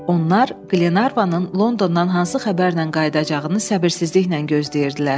Onlar Qlenarvanın Londondan hansı xəbərlə qayıdacağını səbirsizliklə gözləyirdilər.